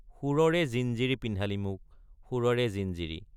সুৰৰে জিঞ্জিৰি পিন্ধালি মোক সুৰৰে জিঞ্জিৰী।